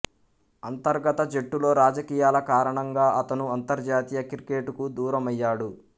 అంతర్గత జట్టులో రాజకీయాల కారణంగా అతను అంతర్జాతీయ క్రికెట్ కు దూరమయ్యాడు